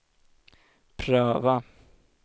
pröva